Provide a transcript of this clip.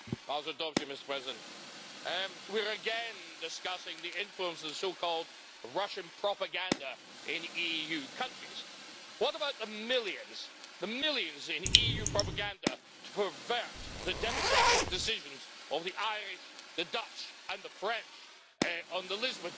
Mr President, we are again discussing the influence of so called Russian propaganda in EU countries. What about the millions, the millions in EU propaganda to pervert the democratic decisions of the Irish, the Dutch and the French on the Lisbon Treaty?